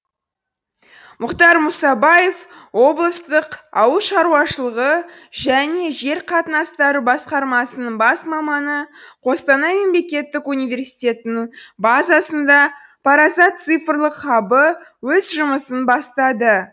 мұхтар мұсабаев облыстық ауыл шаруашылығы және жер қатынастары басқармасының бас маманы қостанай мемлекеттік университетінің базасында парасат цифрлық хабы өз жұмысын бастады